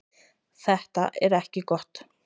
Þetta er ekki gott.